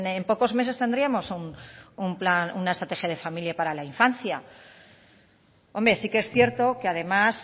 en pocos meses tendríamos una estrategia de familia para la infancia hombre sí que es cierto que además